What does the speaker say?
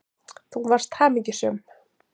Þú varst hamingjusöm.